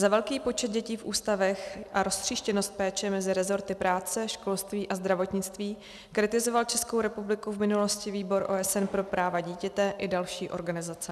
Za velký počet dětí v ústavech a roztříštěnost péče mezi resorty práce, školství a zdravotnictví kritizoval Českou republiku v minulosti Výbor OSN pro práva dítěte i další organizace.